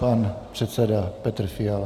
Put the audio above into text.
Pan předseda Petr Fiala.